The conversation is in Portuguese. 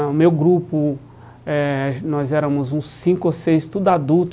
O meu grupo, eh nós éramos uns cinco ou seis, tudo adulto.